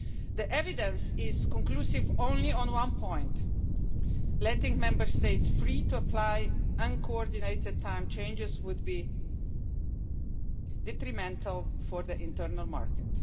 The evidence is conclusive only on one point that letting Member States free to apply uncoordinated time changes would be detrimental for the internal market.